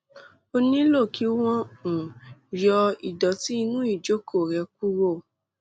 ó nílò kí wọn um yọ ìdọtí inú ìjókòó rẹ kúrò